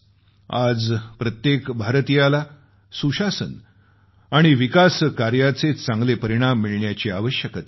आज प्रत्येक भारतीयाला सुशासन आणि विकासकार्याचे चांगले परिणाम मिळण्याची आवश्यकता आहे